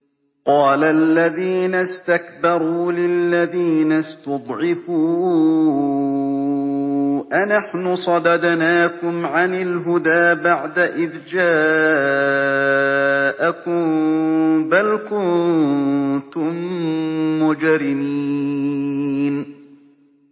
قَالَ الَّذِينَ اسْتَكْبَرُوا لِلَّذِينَ اسْتُضْعِفُوا أَنَحْنُ صَدَدْنَاكُمْ عَنِ الْهُدَىٰ بَعْدَ إِذْ جَاءَكُم ۖ بَلْ كُنتُم مُّجْرِمِينَ